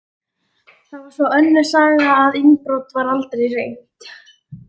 Það var svo önnur saga að innbrot var aldrei reynt.